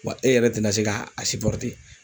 Wa e yɛrɛ tɛna se k'a